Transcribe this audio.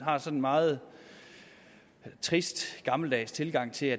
meget trist og gammeldags tilgang til